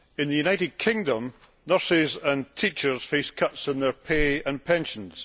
In the United Kingdom nurses and teachers face cuts in their pay and pensions.